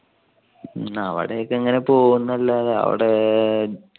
ആ അവിടെക്കെ ഇങ്ങനെ പോകും എന്നല്ലാതെ അവിടെ